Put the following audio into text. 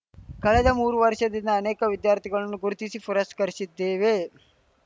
ಕಳೆದ ಮೂರು ವರ್ಷದಿಂದ ಅನೇಕ ವಿದ್ಯಾರ್ಥಿಗಳನ್ನು ಗುರುತಿಸಿ ಪುರಸ್ಕರಿಸಿದ್ದೇವೆ